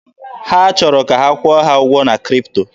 Ha chọrọ ka a kwụọ ha ụgwọ na Kripto.